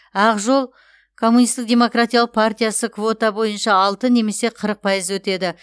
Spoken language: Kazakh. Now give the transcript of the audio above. ақ жол коммунистік демократиялық партиясы квота бойынша алты немесе қырық пайыз өтеді